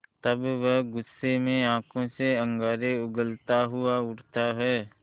तब वह गुस्से में आँखों से अंगारे उगलता हुआ उठता है